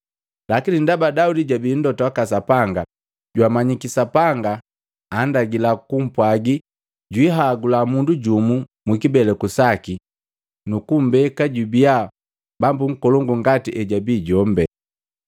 Lakini ndaba Daudi jabi Mlota waka Sapanga, jwamanyiki Sapanga andagila kupwaga jwihagula mundu jumu mukibeleku saki nuku mmbeka jubia Bambu nkolongu ngati ejabii jombi.